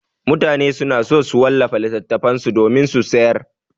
Mutane suna so su wallafa littattafan su domin su sayar.